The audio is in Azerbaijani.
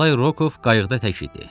Nikolay Rokov qayıqda tək idi.